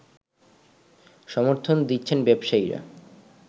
সমর্থন দিচ্ছেন ব্যবসায়ীরা